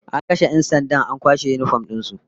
An kashe 'yan sandan an kwashe yinifom din su